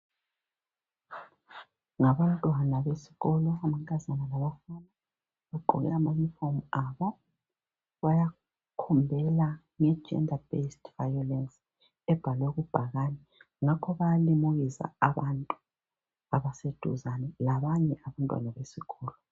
Ngabantwana besikolo. Amankazana bafana. Bagqoke amayunifomu abo. Bayakhombela ngeGender based violence. Ebhalwe kubhakane. Ngakho bayalimukisa abantu abaseduzane. Labanye abantwana besikolo.